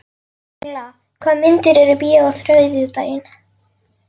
Engla, hvaða myndir eru í bíó á þriðjudaginn?